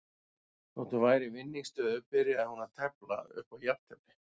Þótt hún væri í vinningsstöðu byrjaði hún að tefla upp á jafntefli.